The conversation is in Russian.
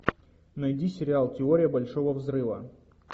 найди сериал теория большого взрыва